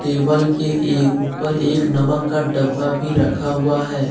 Table के ए ऊपर एक नमक का डब्बा भी रखा हुआ है ।